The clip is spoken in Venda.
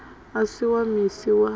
u si wa misi wa